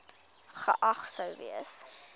geag sou gewees